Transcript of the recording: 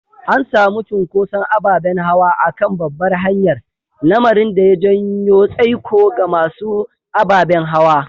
An samu cunkoson ababen hawa a kan babbar hanyar, lamarin da ya janyo tsaiko ga masu ababen hawa.